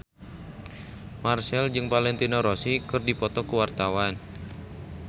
Marchell jeung Valentino Rossi keur dipoto ku wartawan